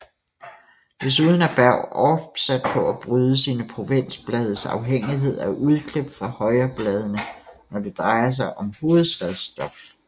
Desuden er Berg opsat på at bryde sine provinsblades afhængighed af udklip fra højrebladene når det drejer sig om hovedstadsstof